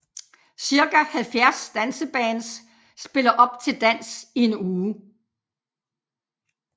Cirka 70 dansebands spiller op til dans i en uge